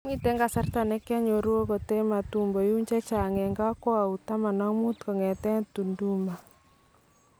"Miten kasarta nekianyoruu akot en Matumbo yuun , chachang en kakwaut 15 kong'eten Tunduma.